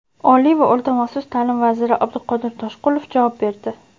Oliy va o‘rta maxsus ta’lim vaziri Abduqodir Toshqulov javob berdi:.